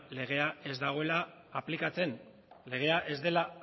legea ez dagoela aplikatzen legea ez dela